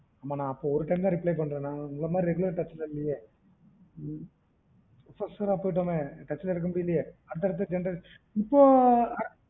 ஹம் நா அப்ப ஒரு time தா reply பண்றன் உங்கள மாதிறி நா regular touch ல இல்லையே ம் professor ஆ போய்ட்டோமே touch ல இருக்க முடிலயே அந்த generation இப்போ